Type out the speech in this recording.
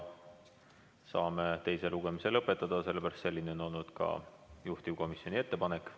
Saame teise lugemise lõpetada, selline on olnud ka juhtivkomisjoni ettepanek.